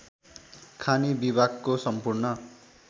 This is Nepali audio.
खानी विभागको सम्पूर्ण